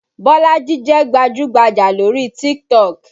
Bolaji jẹ́ gbajú-gbajà lórí TikTok